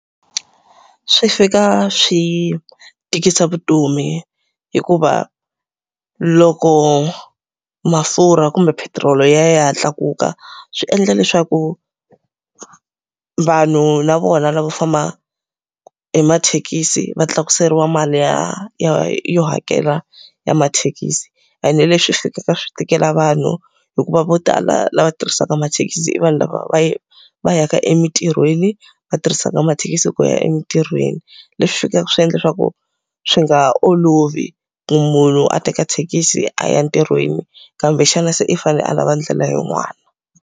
Swi fika swi tikisa vutomi hikuva loko mafurha kumbe petiroli yi ya yi ya tlakuka swi endla leswaku, vanhu na vona lavo famba hi mathekisi va tlakuseriwa mali ya ya yo hakela ya mathekisi. Ene leswi fikaka swi tikela vanhu, hikuva vo tala lava tirhisaka mathekisi i vanhu lava va va yaka emintirhweni, va tirhisaka mathekisi ku ya emintirhweni. Leswi fikaka swi endla leswaku swi nga ha olovi ku munhu a teka thekisi a ya ntirhweni kumbexana se i fanele a lava ndlela yin'wana.